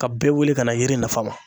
Ka bɛɛ wele ka na yiri nafa ma.